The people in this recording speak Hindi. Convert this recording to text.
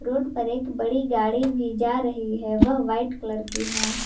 रोड पर एक बड़ी गाड़ी भी जा रही है वह वाइट कलर की है।